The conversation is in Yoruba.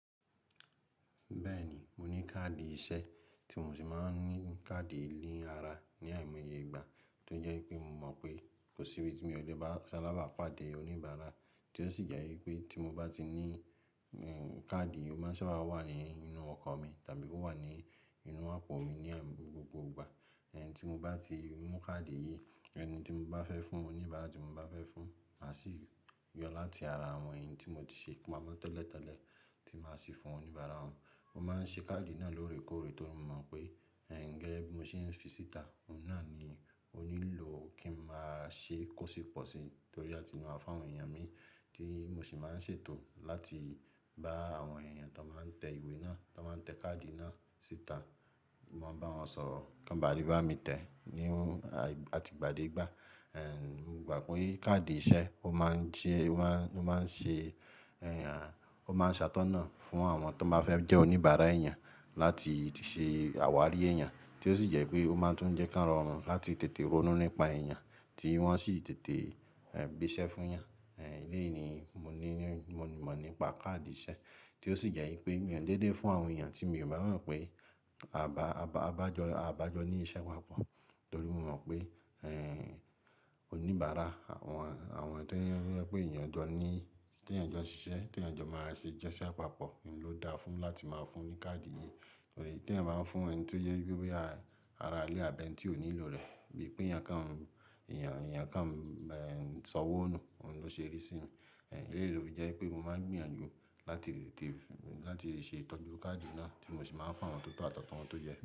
Bẹ́ẹ̀ ni, mo ní káàdì iṣẹ́ tí mo sì máa ń ní káàdì ni ara ní àìmọye ìgbà tó jẹ́ pé mo mọ̀ pé kò sí ibi tí mi o lè bá saláàbà pàdé oníbàárà, tí ó sì jẹ́ wípé tí mo bá ti ní, káàdì yìí, ó máa ń sábà wà nínú ọkọ̀ mi tàbí kí ó wà nínú àpò mi ní gbogbo ìgbà. Ẹ̀yin tí mo bá ti mú káàdì yìí, ẹni tí mo bá fẹ́ fún un, oníbára tí mo bá fẹ́ fún un, maá sì yọ o láti ara àwọn ẹyii tí mo ti ṣe pamọ́ tẹ́lẹ̀tẹ́lẹ̀ tí màá ṣi fún oníbàárà wọn. Mo máa ń ṣe káàdì náà lóore kóóre torí mo mọ̀ pé, gẹ́gẹ́ bí mo ṣe ń fi síta, òun náà ni ó nílò kí n máa ṣe e, kó sí pọ̀sì torí áti máa fún àwọn èèyàn mi, tí mo sì máa ń ṣètò láti bá àwọn èèyàn tó n máa ń tẹ ìwé náà, tó n máa ń tẹ káàdì náà síta. Mo máa ń bá wọn sọ̀rọ̀ kí wọn bá lè bá mi tẹ ní àti ìgbà dé ìgbà. Mo gbà pé káàdì iṣẹ́ ó máa ń jẹ́, ó máa ń ṣe àtọ́nà fún àwọn tó bá fẹ́ jẹ́ oníbàárà ẹ̀eyàn láti ṣé àwárí ẹ̀eyàn, tí ó sì jẹ́ pé ó máa tún jẹ́ ko rọ̀run láti tètè ronú nípa èèyàn tí wọ́n o sì tètè gbẹ́sẹ̀ fún 'yàn. Ẹlẹ́ẹ̀yí ni mo ní, mo mọ̀ nípa káàdì iṣẹ́, tí ó sì jẹ́ wí pé mi ò kí n déédé fún àwọn èèyàn tí mi ò bá mọ̀ wí pé aa bá jọ ní iṣẹ́ papọ̀, nítorí mo wí pé oníbàárà àwọn, àwọn tó jẹ wi pé èèyàn jọ ní, tí èèyàn jọ ṣiṣẹ́, tí èèyàn jọ máa ṣe iṣẹ́ papọ̀, oun ló dáa fún un láti máa fún un ní káàdì yìí. Torí tí ẹ̀eyan báa ń fún ẹni tó jẹ wi pé bóyá, ara ilé àbí ẹni tí ò nílò rẹ̀, bíi pé èèyàn kan sọ owọ́ nù, òun ló ṣe rísí mi. Ẹ̀léyìí ló fi jẹ́ wi pé mo máa ń gbìyànjú láti tètè, láti ṣe ìtọ́jú káàdì náà tí mo sì máa ń fún àwọn tó tọ́ àtàwọn tó yẹ́ ẹ.